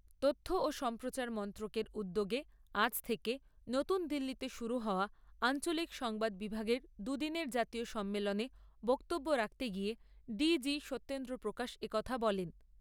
তথ্য ও সম্প্রচার মন্ত্রকের উদ্যোগে আজ থেকে নতুন দিল্লিতে শুরু হওয়া আঞ্চলিক সংবাদ বিভাগের দু'দিনের জাতীয় সম্মেলনে বক্তব্য রাখতে গিয়ে ডিজি সত্যেন্দ্র প্রকাশ এ কথা বলেন।